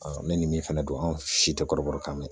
ne nin min fɛnɛ don an si tɛ kɔrɔbɔrɔ kan mɛn